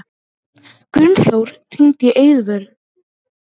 Gunnþór, hringdu í Eiðvöru.